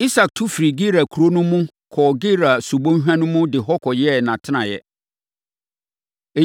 Isak tu firii Gerar kuro no mu, kɔɔ Gerar subɔnhwa mu de hɔ kɔyɛɛ nʼatenaeɛ.